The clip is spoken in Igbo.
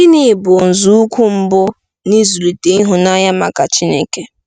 Gịnị bụ nzọụkwụ mbụ n'ịzụlite ịhụnanya maka Chineke?